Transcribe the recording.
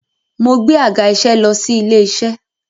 Mo gbé àga-iṣẹ́ lọ sí ilé-iṣẹ́.